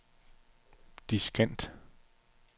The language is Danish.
diskant